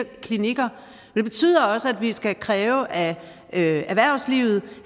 klinikker og det betyder også at vi skal kræve af erhvervslivet